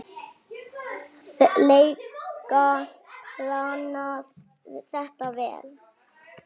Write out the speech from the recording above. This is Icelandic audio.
lega planað þetta vel.